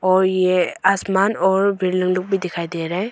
और ये आसमान और बिल्डिंग लोग भी दिखाई दे रहा है।